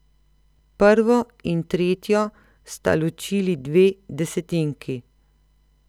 Prvo in tretjo sta ločili dve desetinki.